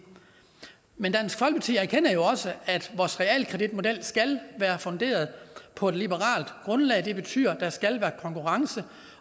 men dansk folkeparti erkender jo også at vores realkreditmodel skal være funderet på et liberalt grundlag det betyder at der skal være konkurrence